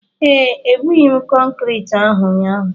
ee, ebughị m kọnkrịtị ahụ ụnyaahụ